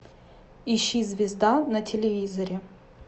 ищи звезда на телевизоре